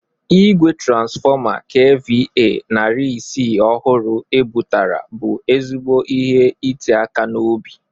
Igwe transfọma KVA narị ise ọhụrụ e bụtara bụ ezigbo ihe ite aka n'obi.